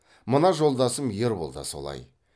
мына жолдасым ербол да солай